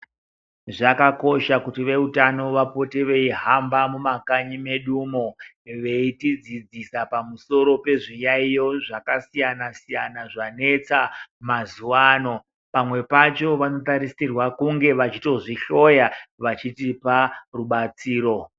Zvakakosha kuti vehutano vapote beyihamba mumakanyi medu umo ,beyitidzidzisa pamusoro pezviyayiyo zvakasiyana siyana zvanetsa mazuvaano. Pamwe pacho vanotarisirwa kunge vachitozvihloya vachitipa rubatsiro.